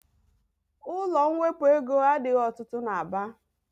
Ụlọ mwepụ ego adịghị ọtụtụ n'Aba.